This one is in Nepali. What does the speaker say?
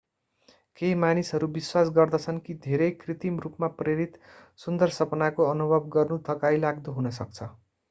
केही मानिसहरू विश्वास गर्दछन् कि धेरै कृत्रिम रूपमा प्रेरित सुन्दर सपनाको अनुभव गर्नु थकाइलाग्दो हुन सक्छ